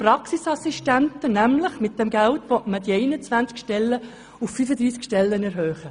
Damit will man nämlich die geplanten 21 Stellen auf 35 erhöhen.